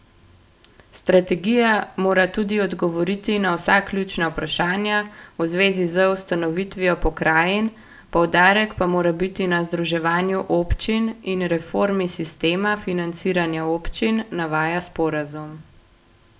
Strategija mora tudi odgovoriti na vsa ključna vprašanja v zvezi z ustanovitvijo pokrajin, poudarek pa mora biti na združevanju občin in reformi sistema financiranja občin, navaja sporazum.